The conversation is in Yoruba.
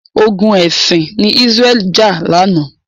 Ogun ẹ̀sìn ni Israel jà lánàá.